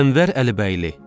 Ənvər Əlibəyli.